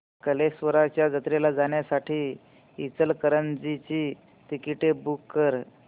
कल्लेश्वराच्या जत्रेला जाण्यासाठी इचलकरंजी ची तिकिटे बुक कर